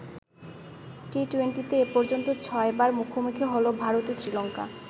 টি-টুয়েন্টিতে এ পর্যন্ত ছয়বার মুখোমুখি হলো ভারত ও শ্রীলঙ্কা।